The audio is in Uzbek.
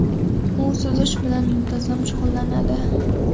U suzish bilan muntazam shug‘ullanadi.